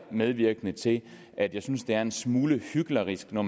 medvirkende til at jeg synes det er en smule hyklerisk når